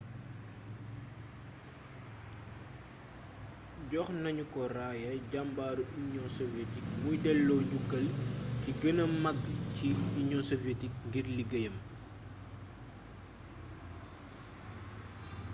jox nañu ko raaya jàmbaaru union soviétique muy dello njukkal gi gëna mag ci union soviétique ngir liggéeyam